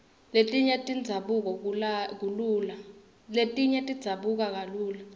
letinye tidzabuka kalula